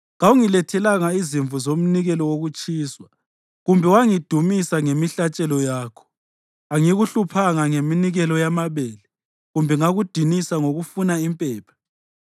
Kawungilethelanga izimvu zomnikelo wokutshiswa, kumbe wangidumisa ngemihlatshelo yakho. Angikuhluphanga ngeminikelo yamabele kumbe ngakudinisa ngokufuna impepha.